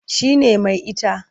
Shi ne mai ita.